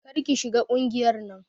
Kar ki shiga ƙungiyar nan.